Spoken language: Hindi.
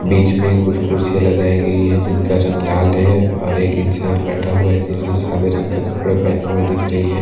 बीच में कुछ कुर्सी लगाई गई है जिनका रंग लाल है और एक इंसान बैठा हुआ है जिसने सादे रंग के कपड़े पहने हुए दिख रहे हैं एक--